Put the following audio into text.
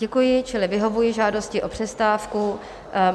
Děkuji, čili vyhovuji žádosti o přestávku.